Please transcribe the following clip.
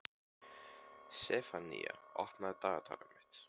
Sefanía, opnaðu dagatalið mitt.